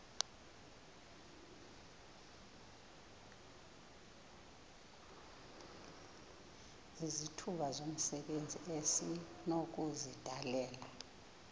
izithuba zomsebenzi esinokuzidalela